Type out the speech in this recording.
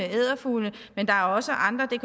edderfugle men der er også andre det